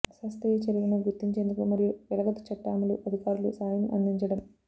అశాస్త్రీయ చర్యలను గుర్తించేందుకు మరియు వెలగదు చట్ట అమలు అధికారులు సాయం అందించడం